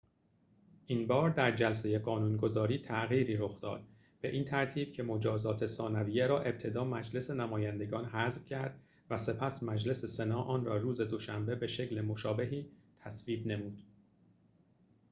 این‌بار در جلسه قانون‌گذاری تغییری رخ داد به این ترتیب که مجازات ثانویه را ابتدا مجلس نمایندگان حذف کرد و سپس مجلس سنا آن را روز دوشنبه به شکل مشابهی تصویب نمود